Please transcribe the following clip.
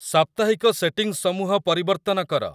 ସାପ୍ତାହିକ ସେଟିଂସମୂହ ପରିବର୍ତ୍ତନ କର